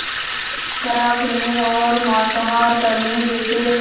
शराब पीने और मांसाहार करने जैसे